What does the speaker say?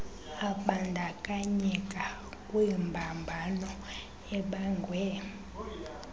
abandakanyeka kwimbambano ebangwe